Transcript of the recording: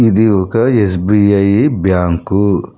ఇది ఒక SBI bank.